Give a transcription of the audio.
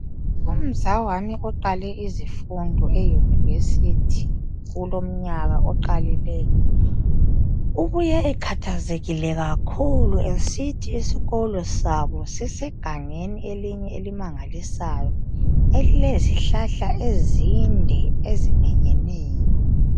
Umzawami oqale izifundo eyunivesithi kulomnyaka oqalileyo. Ubuye ekhathazekile kakhulu esithi isikolo sabo sisegangeni elinye elimangalisayo, elilezihlahla ezinde eziminyeneyo.